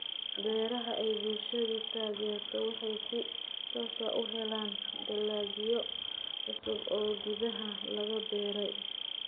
Beeraha ay bulshadu taageerto waxay si toos ah u helaan dalagyo cusub oo gudaha laga beeray.